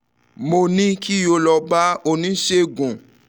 mo ní kí o lọ bá oníṣègùn awọ̀n kan kí wọ́n sì ṣe um àyẹ̀wò rẹ